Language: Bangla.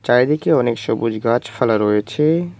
চারিদিকে অনেক সবুজ গাছফালা রয়েছে।